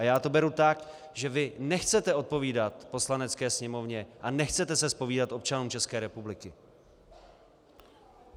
A já to beru tak, že vy nechcete odpovídat Poslanecké sněmovně a nechcete se zpovídat občanům České republiky!